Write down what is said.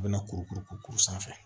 U bɛna kuru kuru kuru kuru sanfɛ